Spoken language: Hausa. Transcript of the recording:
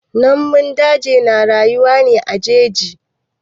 Namun daji na rayuwa ne a jeji.